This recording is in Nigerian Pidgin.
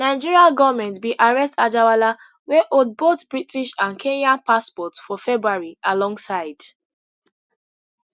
nigeria goment bin arrest anjarwalla wey hold both british and kenyan passports for february alongside